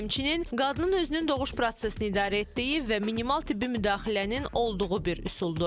Həmçinin, qadının özünün doğuş prosesini idarə etdiyi və minimal tibbi müdaxilənin olduğu bir üsuldur.